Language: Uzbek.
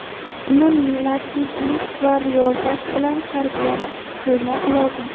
Uni latiflik va riyozat bilan tarbiyat qilmoq lozim.